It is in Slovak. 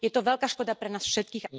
Je to veľká škoda pre nás všetkých...